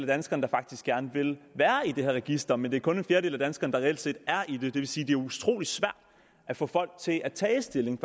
danskerne der faktisk gerne vil være i det her register men der er kun en fjerdedel af danskerne der reelt set er i det det vil sige det utrolig svært at få folk til at tage stilling